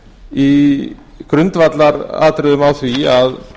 í grundvallaratriðum á því að